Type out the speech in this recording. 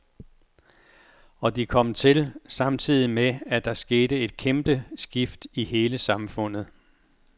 Og de kom til, samtidig med at der skete et kæmpe skift i hele samfundet.